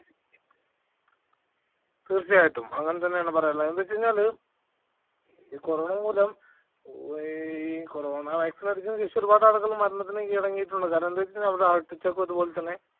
തീർച്ചയായിട്ടും അങ്ങനെ തന്നെയാണ് പറയാനുള്ള. എന്ത് വച്ചാല് ഈ കൊറോണ മൂലം ഈ കൊറോണ vaccine അടിച്ചതിനുശേഷം ഒരുപാട് ആളുകൾ മരണത്തിന് കീഴടങ്ങിയിട്ടുണ്ട്. കാരണമെന്തെന്ന് വെച്ചാൽ heart attack ഉം അതുപോലെതന്നെ